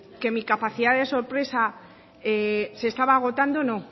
que mi capacidad de sorpresa se estaba agotando no